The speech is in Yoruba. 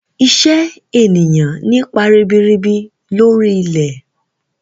Iṣẹ́ ènìyàn nípa ribirib lori ilẹ̀.